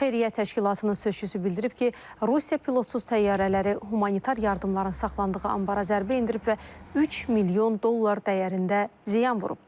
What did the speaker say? Xeyriyyə təşkilatının sözçüsü bildirib ki, Rusiya pilotsuz təyyarələri humanitar yardımların saxlandığı anbara zərbə endirib və 3 milyon dollar dəyərində ziyan vurub.